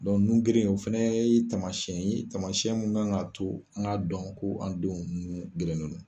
nun geren in o fana ye taamasiyɛn ye taamasiyɛn min kan k'a to an k'a dɔn ko an denw nun gerennen don